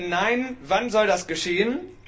Wenn nein, wann soll das geschehen?